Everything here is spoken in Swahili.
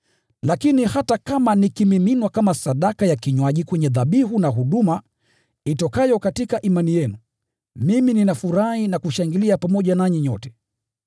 Lakini hata kama nikimiminwa kama sadaka ya kinywaji kwenye dhabihu na huduma itokayo katika imani yenu, mimi ninafurahi na kushangilia pamoja nanyi nyote.